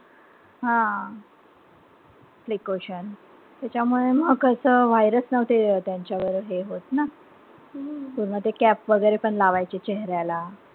हां. precaution त्याच्यामुळे मग कसं virus नव्हते त्यांच्यावर हे होत ना. पूर्ण ते cap वगैरे पण लावायचे चेहेऱ्याला.